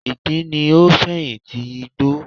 Ìgbín ni o fẹ̀yin ti igbó